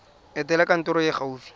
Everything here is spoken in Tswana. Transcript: etela kantoro e e gaufi